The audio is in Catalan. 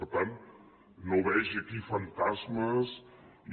per tant no vegi aquí fantasmes i